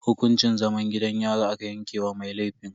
Hukuncin zaman gidan yari aka yanke wa mai laifin.